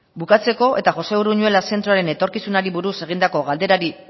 bukatzeko eta josé uruñuela zentroaren etorkizunari buruz egindako galderari